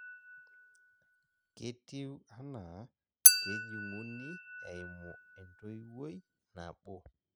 ketiu anaa kejung'uni eimu entoiwoi nabo.